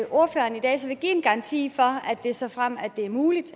ordføreren i dag give en garanti for at det såfremt det er muligt